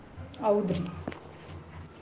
ಹೌದ್ರಿ.